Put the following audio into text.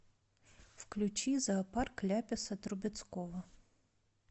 включи зоопарк ляписа трубецкого